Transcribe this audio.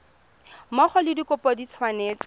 mmogo le dikopo di tshwanetse